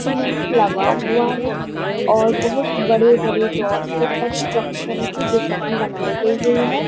Cement लगाया हुआ है और बहुत बड़े बड़े दौड़ते कंस्ट्रक्शन की डिजाइन बनाई गई है।